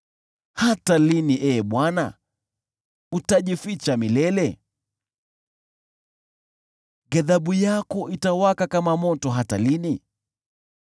Hata lini, Ee Bwana ? Utajificha milele? Ghadhabu yako itawaka kama moto hata lini?